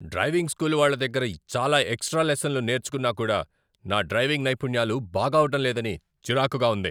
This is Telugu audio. డ్రైవింగ్ స్కూల్ వాళ్ల దగ్గర చాలా ఎక్స్ట్రా లెసన్లు నేర్చుకున్నా కూడా నా డ్రైవింగ్ నైపుణ్యాలు బాగవటం లేదని చిరాకుగా ఉంది.